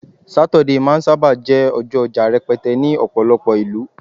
Saturday ma n saba jé ọjọ oja rẹpẹtẹ ní ọpọlọpọ ìlú